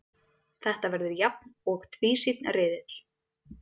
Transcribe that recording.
Þetta verður jafn og tvísýnn riðill